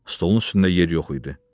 Stolun üstündə yer yox idi.